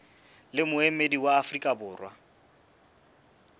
le moemedi wa afrika borwa